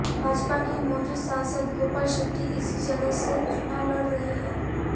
भाजपा के मौजूदा सांसद गोपाल शेट्टी इसी जगह से चुनाव लड़ रहे हैं